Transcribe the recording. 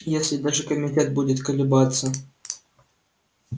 если даже комитет будет колебаться